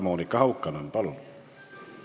Monika Haukanõmm, palun!